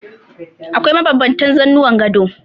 Akwai mabanbantan zanuwan gado.